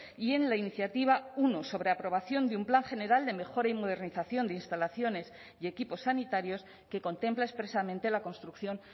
y en la iniciativa uno sobre aprobación de un plan general de mejora y modernización de instalaciones y equipos sanitarios que contempla expresamente la construcción